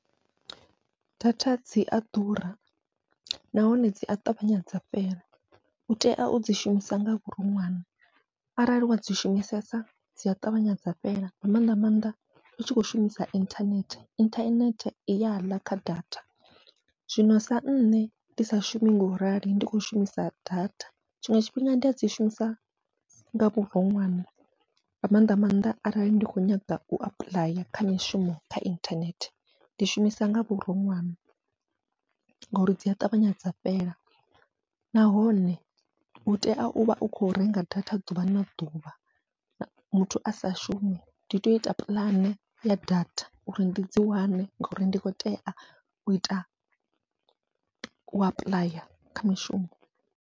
Data dzia ḓura nahone dzia ṱavhanya dza fhela, utea udzi shumisa nga vhuroṅwane arali wadzi shumisesa dzia ṱavhanya dza fhela nga mannḓa maanḓa utshi kho shumisa inthanethe, inthanethe i yaḽa kha datha zwino sa nṋe ndi sa shumi ngorali ndi khou shumisa data, tshiṅwe tshifhinga ndi adzi shumisa nga vhuroṅwane nga maanḓa maanḓa arali ndi kho nyaga u apuḽaya kha mishumo kha inthanethe. Ndi shumisa nga vhuronwane ngori dzia ṱavhanya dza fhela nahone utea uvha u kho renga data ḓuvha na ḓuvha muthu asa shumi, ndi to ita puḽane ya data uri ndi dzi wane ngori ndi kho tea u ita u apuḽaya kha mishumo.